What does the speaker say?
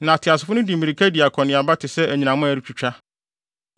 Na ateasefo no de mmirika di akɔneaba te sɛ anyinam a ɛretwitwa.